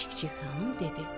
Çik-çik xanım dedi: